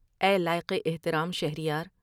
اے لائق احترام شہر یار!